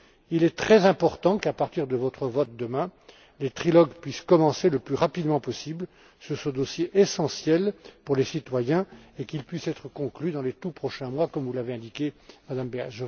Il est très important qu'à partir de votre vote demain, les trilogues puissent commencer le plus rapidement possible sur ce dossier essentiel pour les citoyens, et qu'il puisse être conclu dans les tout prochains mois comme vous l'avez indiqué, Mme Berès.